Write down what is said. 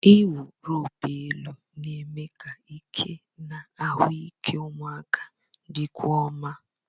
Ịwụ roopu elu na-eme ka ike na ahụike ụmụaka dịkwuo mma.